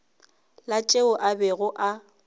la tšeo a bego a